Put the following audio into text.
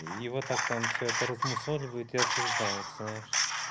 и вот так там все это размусоливают и осуждают знаешь